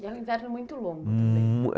E é um inverno muito longo. Muuu, é